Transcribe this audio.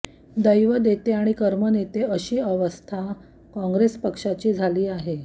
दैव देते आणि कर्म नेते अशी अवस्था काँग्रेस पक्षाची झाली आहे